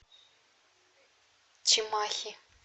чимахи